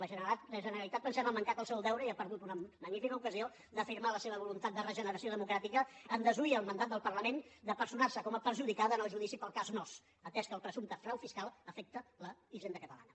la generalitat pensem ha mancat al seu deure i ha perdut una magnífica ocasió d’afirmar la seva voluntat de regeneració democràtica en desoir el mandat del parlament de personar se com a perjudicada en el judici pel cas nóos atès que el presumpte frau fiscal afecta la hisenda catalana